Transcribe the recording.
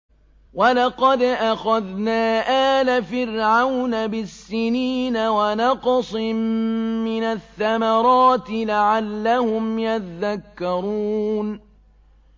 وَلَقَدْ أَخَذْنَا آلَ فِرْعَوْنَ بِالسِّنِينَ وَنَقْصٍ مِّنَ الثَّمَرَاتِ لَعَلَّهُمْ يَذَّكَّرُونَ